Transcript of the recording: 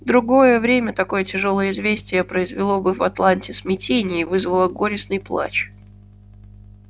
в другое время такое тяжёлое известие произвело бы в атланте смятение и вызвало горестный плач